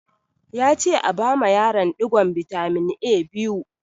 Ya ce a bama yaron ɗigon bitamin A biyu!